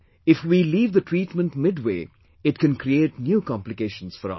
If we leave the treatment midway, it can create new complications for us